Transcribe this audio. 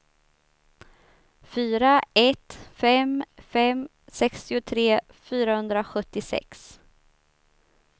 fyra ett fem fem sextiotre fyrahundrasjuttiosex